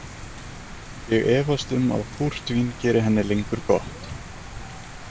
Ég efast um að púrtvín geri henni lengur gott.